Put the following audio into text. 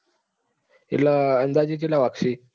એટલે અંદાજે કેટલા વાગશે?